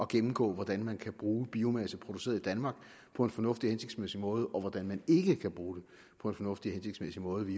gennemgå hvordan man kan bruge biomasse produceret i danmark på en fornuftig og hensigtsmæssig måde og hvordan man ikke kan bruge den på en fornuftig og hensigtsmæssig måde vi